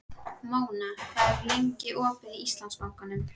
Móna, hvað er opið lengi í Íslandsbanka?